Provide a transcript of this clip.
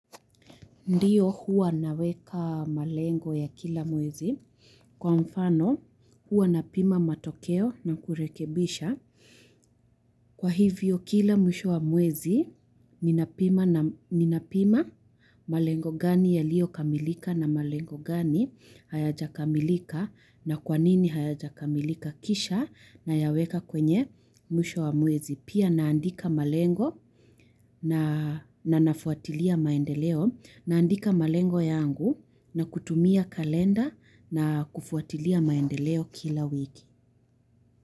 Ndiyo huwa naweka malengo ya kila mwezi. Kwa mfano huwa na pima matokeo na kurekebisha. Kwa hivyo kila mwisho wa mwezi, ninapima malengo gani yalio kamilika na malengo gani, hayaja kamilika na kwanini hayaja kamilika kisha na yaweka kwenye mwisho wa mwezi. Pia naandika malengo na nafuatilia maendeleo. Naandika malengo yangu na kutumia kalenda na kufuatilia maendeleo kila wiki.